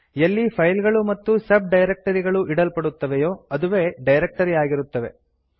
ಎಲ್ಲಿ ಫೈಲ್ ಗಳು ಮತ್ತು ಸಬ್ ಡೈರಕ್ಟರಿ ಗಳು ಇಡಲ್ಪಡುತ್ತವೆಯೋ ಅದುವೇ ಡೈರಕ್ಟರಿ ಆಗಿರುತ್ತದೆ